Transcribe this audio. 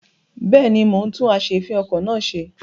Bẹ́ẹ̀ni, mo ń tún as'èéfìn-okọ̀ náà ṣe.